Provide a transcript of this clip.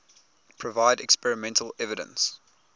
provide experimental evidence